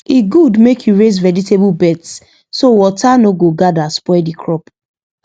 e good make you raise vegetable beds so water no go gather spoil the crop